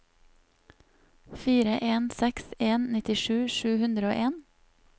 fire en seks en nittisju sju hundre og en